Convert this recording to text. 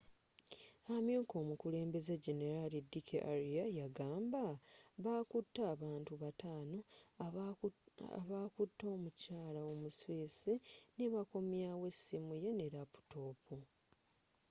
amyuka omukebezi generaali d k arya yagamba bakute abantu bataano abakute omukyala omu swiss nebakomyawo essimu ye ne laputoopu